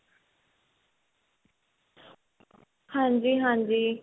ਹਾਂਜੀ ਹਾਂਜੀ